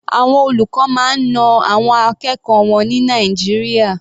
Àwọn olùkọ́ máa ń na àwọn akẹ́kọ̀ọ́ wọn ní Nàìjíríà.